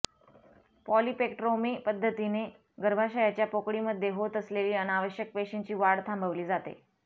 polypectomy पद्धतीमध्ये गर्भाशयाच्या पोकळीमध्ये होत असलेली अनावश्यक पेशींची वाढ थांबवली जाते